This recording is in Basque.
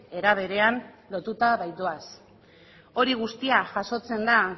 era berean lotuta baitoaz hori guztia jasotzen da